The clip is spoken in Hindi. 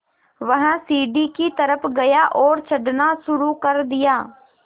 वह सीढ़ी की तरफ़ गया और चढ़ना शुरू कर दिया